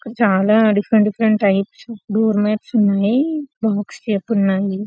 ఇక్కడ చాలా different different types door mats ఉన్నాయి బాక్స్ లెక్క ఉన్నాయి.